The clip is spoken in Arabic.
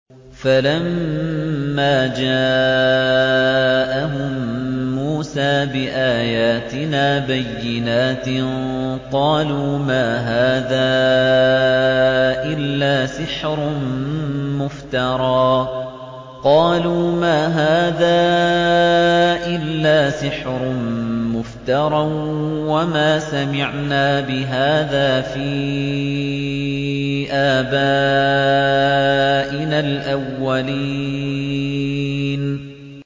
فَلَمَّا جَاءَهُم مُّوسَىٰ بِآيَاتِنَا بَيِّنَاتٍ قَالُوا مَا هَٰذَا إِلَّا سِحْرٌ مُّفْتَرًى وَمَا سَمِعْنَا بِهَٰذَا فِي آبَائِنَا الْأَوَّلِينَ